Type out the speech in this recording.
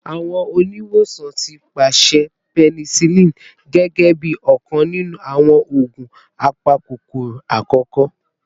Awọn oniwosan ti paṣẹ penicillin gẹgẹbi ọkan ninu awọn oogun apakokoro akọkọ